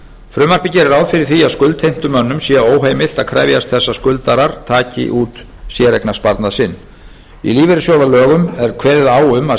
frumvarpið gerir ráð fyrir því að skuldheimtumönnum sé óheimilt að krefjast þess að skuldarar taki út séreignarsparnað sinn í lífeyrissjóðalögunum er kveðið á um að